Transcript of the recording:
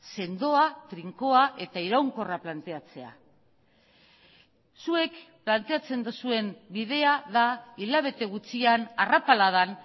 sendoa trinkoa eta iraunkorra planteatzea zuek planteatzen duzuen bidea da hilabete gutxian arrapaladan